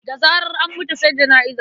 Da zarar an mutu sai jana'iza.